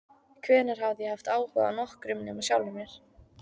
Hvenær hafði ég haft áhuga á nokkrum nema sjálfum mér?